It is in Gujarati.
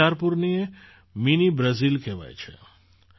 બિચારપુરને મિની બ્રાઝિલ કહેવાય છે